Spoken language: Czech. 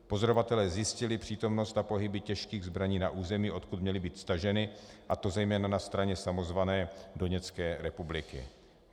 Pozorovatelé zjistili přítomnost a pohyby těžkých zbraní na území, odkud měly být staženy, a to zejména na straně samozvané Doněcké republiky.